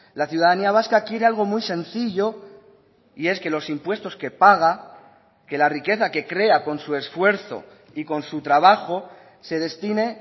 la ciudadanía vasca quiere algo muy sencillo y es que los impuestos que paga que la riqueza que crea con su esfuerzo y con su trabajo se destine